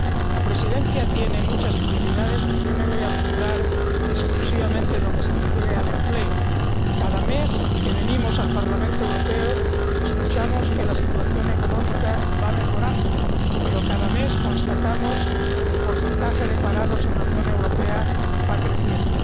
La Presidencia tiene muchas prioridades, pero yo me voy a centrar exclusivamente en lo que se refiere al empleo. Cada mes que venimos al Parlamento Europeo oímos que la situación económica va mejorando, pero cada mes constatamos que el porcentaje de parados en la Unión Europea va creciendo.